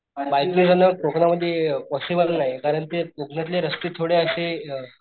bike चालवणं कोकण मध्ये अ पॉसिबल नाही कारण ते कोकणातले रस्ते थोडे अशे,